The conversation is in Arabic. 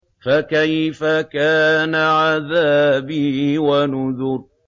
فَكَيْفَ كَانَ عَذَابِي وَنُذُرِ